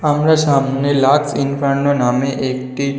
আমাদের সামনে Lux Inferno নামে একটি--